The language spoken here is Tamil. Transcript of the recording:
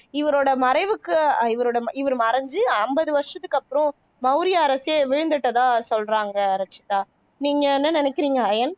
இவரோட மறைவுக்கு இவரோட இவர் மறைஞ்சு அம்பது வருஷத்துக்கு அப்பறம் மௌரிய அரசே வீழ்ந்துட்டதா சொல்றாங்க ரச்சிதா நீங்க என்ன நினைக்குறீங்க ஐயன்